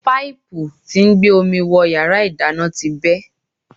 Páìpù tí ń gbé omi wọ yàrá ìdáná ti bẹ́.